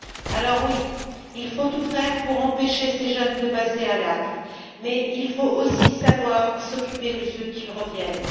Alors oui, il faut tout faire pour empêcher ces jeunes de passer à l'acte, mais il faut aussi savoir s'occuper de ceux qui reviennent.